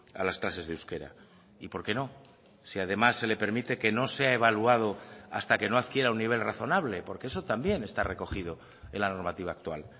a las clases de euskera y por qué no si además se le permite que no sea evaluado hasta que no adquiera un nivel razonable porque eso también está recogido en la normativa actual